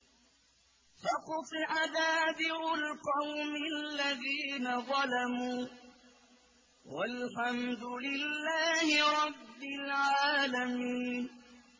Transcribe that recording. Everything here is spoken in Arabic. فَقُطِعَ دَابِرُ الْقَوْمِ الَّذِينَ ظَلَمُوا ۚ وَالْحَمْدُ لِلَّهِ رَبِّ الْعَالَمِينَ